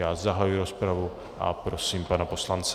Já zahajuji rozpravu a prosím pana poslance.